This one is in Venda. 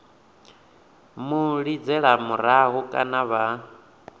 mu lidzela murahu kana vha